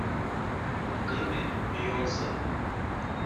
клипы бейонсе